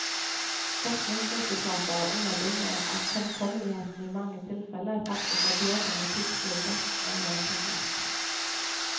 Forskningsresultater underbygger at fremkommeligheten i mange tilfelle faktisk er bedre med piggfrie dekk enn med piggdekk.